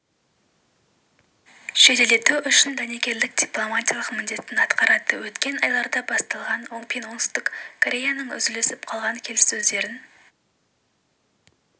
жеделдету үшін дәнекерлік дипломатиялық міндетін атқарады өткен айларда басталған пен солтүстік кореяның үзіліп қалған келіссөздерін